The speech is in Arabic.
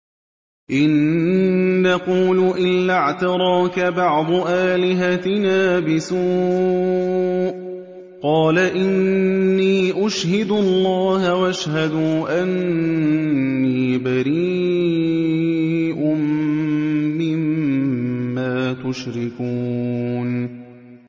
إِن نَّقُولُ إِلَّا اعْتَرَاكَ بَعْضُ آلِهَتِنَا بِسُوءٍ ۗ قَالَ إِنِّي أُشْهِدُ اللَّهَ وَاشْهَدُوا أَنِّي بَرِيءٌ مِّمَّا تُشْرِكُونَ